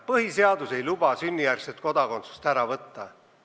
Põhiseadus ei luba sünnijärgset kodakondsust ära võtta.